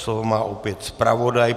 Slovo má opět zpravodaj.